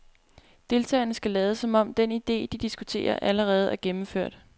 Deltagerne skal lade, som om den idé, de diskuterer, allerede er gennemført.